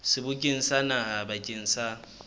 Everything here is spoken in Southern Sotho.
sebokeng sa naha bakeng sa